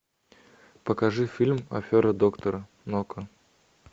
покажи фильм афера доктора нока